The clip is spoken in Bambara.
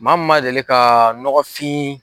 Maa min man deli ka nɔgɔfin